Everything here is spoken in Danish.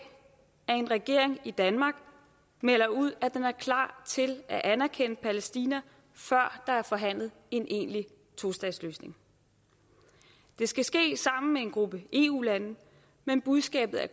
at en regering i danmark melder ud at den er klar til at anerkende palæstina før der er forhandlet en egentlig tostatsløsning det skal ske sammen med en gruppe eu lande men budskabet er